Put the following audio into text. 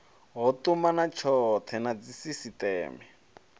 ho tumana tshothe na dzisisiteme